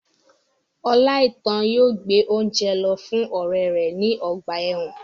Oláitan yóò gbé óúnjẹ lọ fún ọrẹ rẹ ní ọgbà ẹ̀wọ̀n